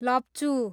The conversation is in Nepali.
लप्चू